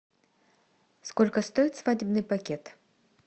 сколько стоит свадебный пакет